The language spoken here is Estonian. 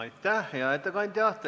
Aitäh, hea ettekandja!